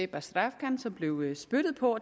bazrafkan som blev spyttet på